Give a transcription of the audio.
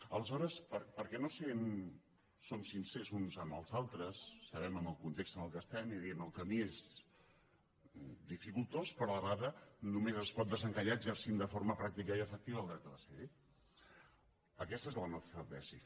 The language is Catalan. aleshores per què no som sincers uns amb els altres sabem en el context en què estem i diem el camí és dificultós però a la vegada només es pot desencallar exercint de forma pràctica i efectiva el dret a decidir aquesta és la nostra tesi